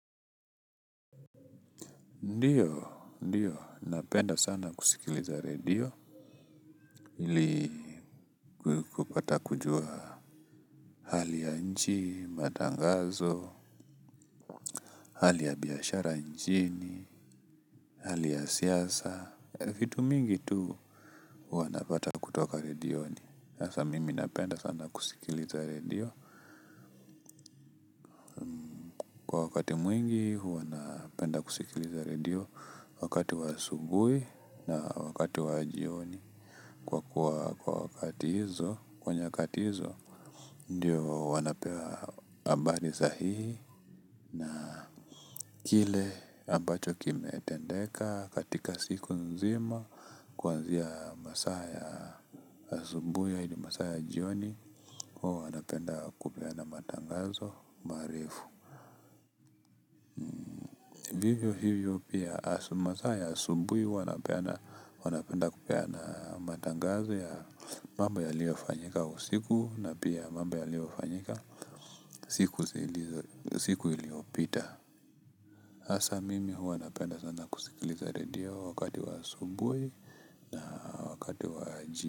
Ndio, ndio, napenda sana kusikiliza radio. Ili kupata kujua hali ya nchi, matangazo, hali ya biashara ya nchi, hali ya siasa, vitu mingi tu, huwa napata kutoka radioni. Sasa mimi napenda sana kusikiliza radio. Wakati mwingi huwa napenda kusikiliza radio wakati wa asubuhi na wakati wa jioni, kwa kuwa kwa nyakati hizo, ndio wanapewa habari sahihi. Na kile ambacho kimetendeka, katika siku nzima kuanzia masaa ya asubuhi hadi masaa ya jioni. Huwa wanapenda kupeana matangazo, marefu. Vivyo hivyo pia, masaa ya asubuhi huwa wanapenda kupeana matangazo ya mambo yaliyofanyika usiku na pia mamba yaliyofanyika siku iliyopita. Hasa mimi huwa napenda sana kusikiliza redio wa wakati wa asubuhi na wakati wa.